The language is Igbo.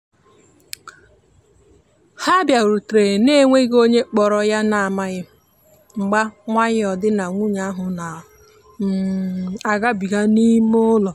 ha biarutere na-enweghi onye kporo yana amaghi mgba nwayo di na nwunye ahu na um agabiga n'ime ụlọ.